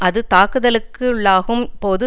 அது தாக்குதலுக்குள்ளாகும் போது